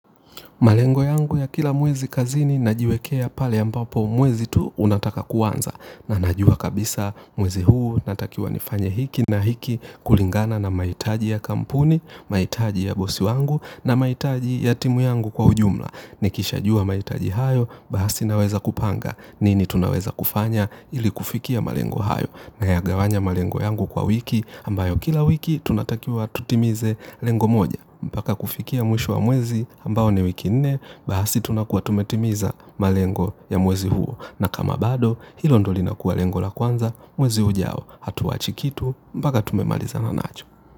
Malengo yangu ya kila mwezi kazini na jiwekea pale ambapo mwezi tu unataka kuanza na najua kabisa mwezi huu natakiwa nifanye hiki na hiki kulingana na mahitaji ya kampuni, mahitaji ya bosi wangu na maitaji ya timu yangu kwa ujumla. Nikisha jua mahitaji hayo baasi naweza kupanga nini tunaweza kufanya ili kufikia malengo hayo. Na ya gawanya malengo yangu kwa wiki ambayo kila wiki tunatakiwa tutimize lengo moja. Mpaka kufikia mwisho wa mwezi ambayo ni wiki nne bahasi tunakuwa tumetimiza malengo ya mwezi huo. Na kama bado hilo ndo li nakua lengo la kwanza mwezi ujao hatuachi kitu mpaka tumemalizana nacho.